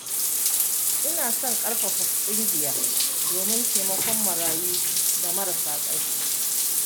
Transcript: Ina son kafa ƙungiya domin taimakon marayu da marasa ƙarfi.